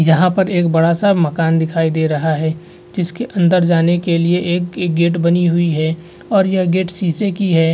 यहां पर एक बड़ा-सा मकान दिखाई दे रहा है जिसके अंदर जाने के लिए एक गेट बनी हुई है और यहां गेट शीशे की है।